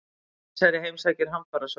Keisari heimsækir hamfarasvæði